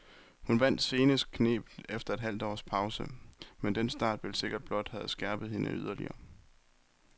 Hun vandt senest knebent efter et halvt års pause, men den start vil sikkert blot have skærpet hende yderligere.